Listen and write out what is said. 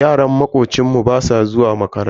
Yaran makocinmu basu zuwa makaranta.